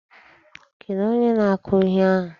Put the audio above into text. Kedụ onye na-akụ ihe ahụ?